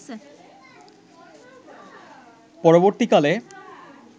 পরবর্তী কালে